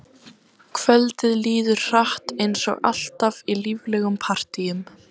Kvöldið líður hratt eins og alltaf í líflegum partíum.